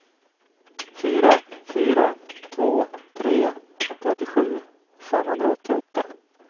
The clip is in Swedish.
fyra fyra två tre trettiosju femhundraåttioåtta